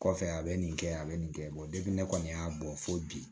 Kɔfɛ a bɛ nin kɛ a bɛ nin kɛ ne kɔni y'a bɔ fo bi